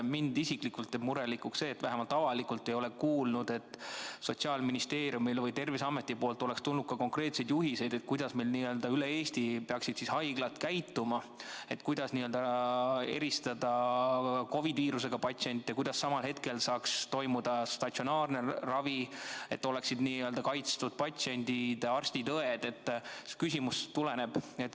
Mind isiklikult teeb murelikuks see, et vähemalt avalikult ei ole ma kuulnud, et Sotsiaalministeeriumilt või Terviseametilt oleks tulnud konkreetseid juhiseid selle kohta, kuidas meil üle Eesti peaksid haiglad käituma – selle kohta, kuidas eristada COVID-viirusega patsiente ja kuidas samal ajal saaks toimuda statsionaarne ravi, et oleksid kaitstud patsiendid, arstid ja õed.